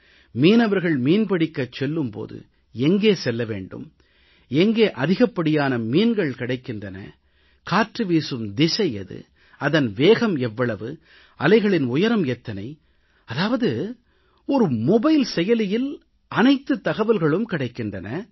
மீனவர்கள் மீன்பிடிக்கச் செல்லும் போது எங்கே செல்ல வேண்டும் எங்கே அதிகப் படியான மீன்கள் கிடைக்கின்றன காற்று வீசும் திசை எது அதன் வேகம் எவ்வளவு அலைகளின் உயரம் எத்தனை என்று இந்த மொபைல் செயலியில் அனைத்துத் தகவல்களும் கிடைக்கின்றன